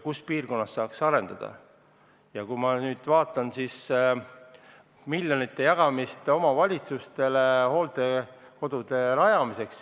Kui ma nüüd vaatan miljonite jagamist omavalitsustele hooldekodude rajamiseks